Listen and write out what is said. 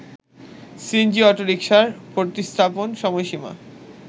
CNG অটোরিকশার প্রতিস্থাপন সময়সীমা